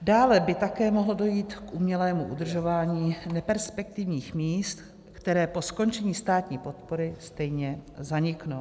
Dále by také mohlo dojít k umělému udržování neperspektivních míst, která po skončení státní podpory stejně zaniknou.